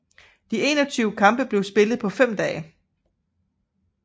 De 21 kampe blev spillet på fem dage